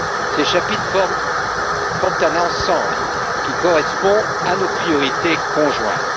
Ces chapitres forment un ensemble qui correspond à nos priorités conjointes.